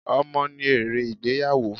Ọmọ ni èrè ìgbéyàwó.